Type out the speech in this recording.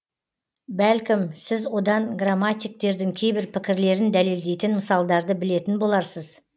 бәлкім сіз одан грамматиктердің кейбір пікірлерін дәлелдейтін мысалдарды білетін боларсыз